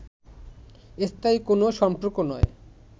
স্থায়ী কোন সম্পর্ক নয়